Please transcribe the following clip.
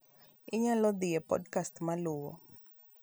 nyalo dhi e podcast maluwo